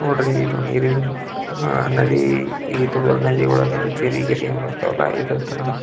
ನೋಡ್ರಿ ಇದು ನೀರಿನ್ ಅಹ್ ಅಹ್ ನದಿ ಇತ ದೊಡ್ಡ ನದಿ ಒಳಗೆ ಚೆರಿಗಿರಿ ಬರ್ತಾವಲ್ಲ ಇದೆ ತರ--